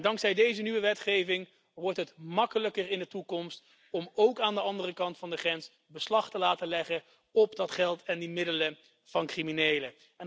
Dankzij deze nieuwe wetgeving wordt het in de toekomst makkelijker om ook aan de andere kant van de grens beslag te laten leggen op het geld en de middelen van criminelen.